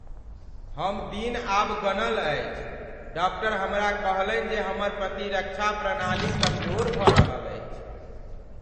हम दिन आब गनल अछि । डाक्टर हमरा कहलनि जे हमर प्रतिरक्षा प्रणाली कमजोर भऽ रहल अछि।